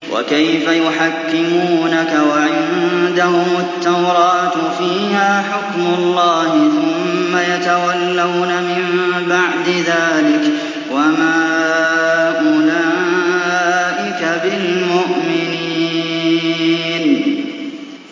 وَكَيْفَ يُحَكِّمُونَكَ وَعِندَهُمُ التَّوْرَاةُ فِيهَا حُكْمُ اللَّهِ ثُمَّ يَتَوَلَّوْنَ مِن بَعْدِ ذَٰلِكَ ۚ وَمَا أُولَٰئِكَ بِالْمُؤْمِنِينَ